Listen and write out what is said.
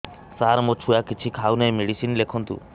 ସାର ମୋ ଛୁଆ କିଛି ଖାଉ ନାହିଁ ମେଡିସିନ ଲେଖନ୍ତୁ